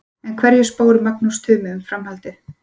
En hverju spáir Magnús Tumi um framhaldið?